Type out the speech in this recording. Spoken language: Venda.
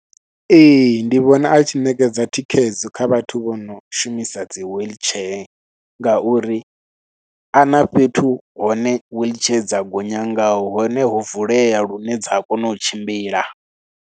Ee ndi vhona a tshi ṋekedza thikhedzo kha vhathu vho no shumisa dzi wheelchair ngauri a na fhethu hone wheelchair dza gonya ngaho, hone ho vulea lune dza a kona u tshimbila.